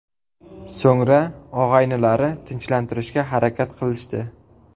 So‘ngra, og‘aynilari tinchlantirishga harakat qilishdi.